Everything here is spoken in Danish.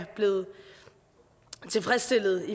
blevet tilfredsstillet